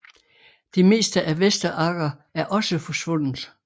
Det meste af Vester Agger er også forsvundet